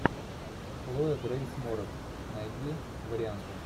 хлоя грейс морец найди варианты